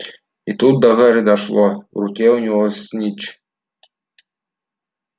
и тут до гарри дошло в руке у него снитч